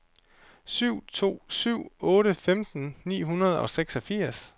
syv to syv otte femten ni hundrede og seksogfirs